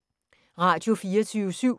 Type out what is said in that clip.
Radio24syv